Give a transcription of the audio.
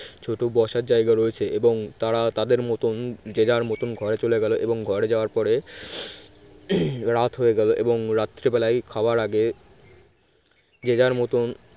ছোট বসার জায়গা রয়েছে এবং তারা তাদের মতন যে যার মতন ঘরে চলে গেল এবং ঘরে যাওয়ার পরে হম রাত হয়ে গেল এবং রাত্রিবেলায় খাওয়ার আগে যে যার মতন